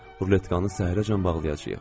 Ruletkanı səhərəcən bağlayacağıq.